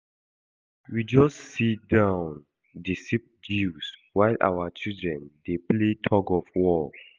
We just see down dey sip juice while our children dey play tug of war